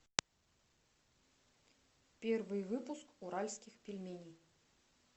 первый выпуск уральских пельменей